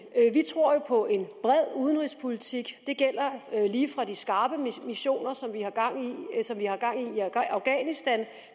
vi tror jo på en bred udenrigspolitik det gælder lige fra de skarpe missioner som i afghanistan